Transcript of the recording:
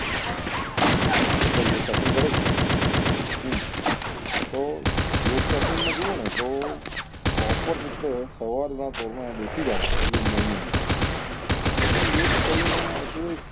હું કેવું બધા યોગ સાસન કરે જ છે હા તો લોક સાસન માં જોવો ને તો proper રીતે સવાર ના પોર માં બેસી જાઓ તો તમને યોગ કરી ને